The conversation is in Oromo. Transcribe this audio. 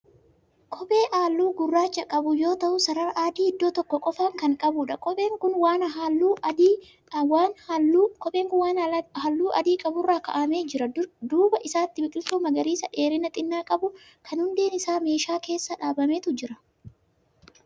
Kophee halluu gurraacha qabu yoo ta'u sarara adii idoo tokko qofaan Kan qabuudha. kopheen Kuni waan halluu adii qaburra kaa'amee jir. duuba isaatti biqiltuu magariisa dheerina xinnaa qabu Kan hundeen Isaa meeshaa keessa dhaabametu Jira.